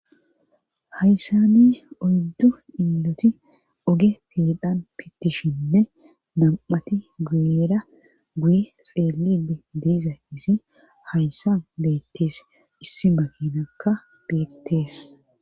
Hayssani oydddu inloti oge pidhan pittishinne dam'ati guyera guye xeelidi diiza isi hayssa beettees issi makinakka beettees.